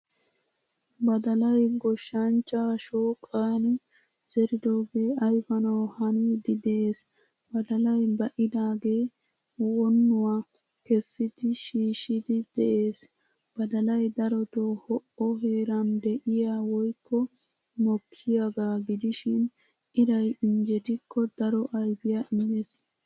Badalaay goshshanchcha shooqan zeridoge ayfanawu hanidi de'ees. Badalaay baidage wonuwaa keessidi shiishidi de'ees. Badalaay daroto ho'o heeran de'iyaa woykko mokkiyaga gidishin iray injjettiko daro ayfiya immees.